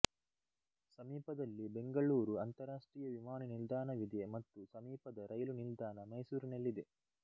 ಸಮೀಪದಲ್ಲಿ ಬೆಂಗಳೂರು ಅಂತಾರಾಷ್ಟ್ರೀಯ ವಿಮಾನ ನಿಲ್ದಾಣವಿದೆ ಮತ್ತು ಸಮೀಪದ ರೈಲು ನಿಲ್ದಾನ ಮೈಸೂರಿನಲ್ಲಿದೆ